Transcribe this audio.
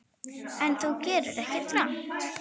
En þú gerðir ekkert rangt.